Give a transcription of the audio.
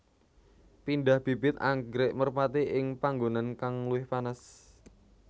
Pindah bibit anggrèk merpati ing panggonan kang luwih panas